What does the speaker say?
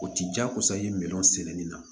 O ti jagosa i ye minɛn sɛnɛni na